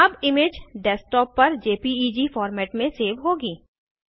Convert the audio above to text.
अब image desktop पर JPEG format में सेव होगी